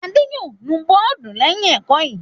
Adé yóò nu bọ́ọ́dù lẹ́yìn ẹ̀kọ́ yìí!